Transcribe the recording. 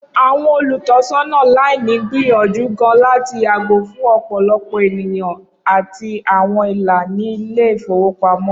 Awọn olutọsọna laini n gbiyanju gaan lati yago fun ọpọlọpọ eniyan ati awọn ila ni ile-ifowopamọ.